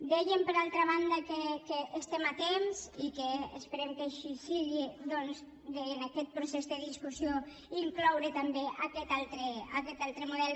dèiem per altra banda que estem a temps i que esperem que així sigui doncs de en aquest procés de discussió incloure també aquest altre model